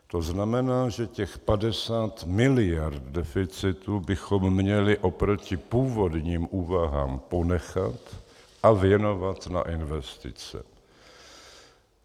To znamená, že těch 50 miliard deficitu bychom měli oproti původním úvahám ponechat a věnovat na investice.